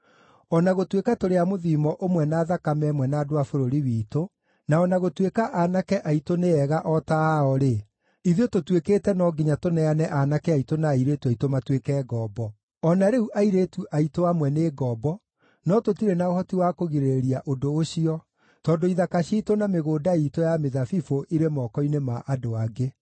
O na gũtuĩka tũrĩ a mũthiimo ũmwe na thakame ĩmwe na andũ a bũrũri witũ, na o na gũtuĩka aanake aitũ nĩ ega o ta ao-rĩ, ithuĩ tũtuĩkĩte no nginya tũneane aanake aitũ na airĩtu aitũ matuĩke ngombo. O na rĩu airĩtu aitũ amwe nĩ ngombo, no tũtirĩ na ũhoti wa kũgirĩrĩria ũndũ ũcio tondũ ithaka ciitũ na mĩgũnda iitũ ya mĩthabibũ ĩrĩ moko-inĩ ma andũ angĩ.”